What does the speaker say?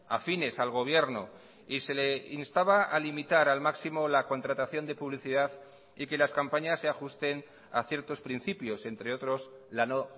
afines al gobierno y se le instaba a limitar al máximo la contratación de publicidad y que las campañas se ajusten a ciertos principios entre otros la no